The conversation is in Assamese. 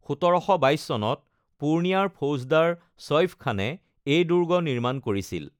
১৭২২ চনত পূৰ্ণিয়াৰ ফৌজদাৰ চইফ খানে এই দুৰ্গ নিৰ্মাণ কৰিছিল।